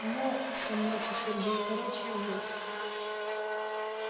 ну все мнётся сергей короче вот